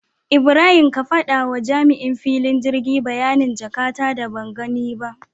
Ibrahim ka faɗawa jami'in filin girgi bayanin jaka ta da bangani ba